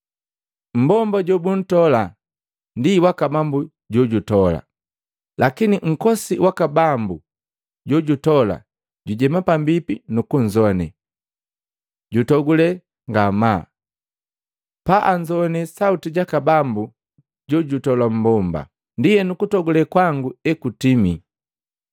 Mmbomba jobuntola ndi waka bambu jojutola, lakini nkosi waka bambu jojutola jujema pambipi nukunzowane, jutogule ngamaa paanzowane sauti jaka bambu jojutola mmbomba. Ndienu kutogule kwangu ekutimii.